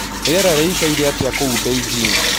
Rĩera rĩĩkaĩre atĩa kũũ beijing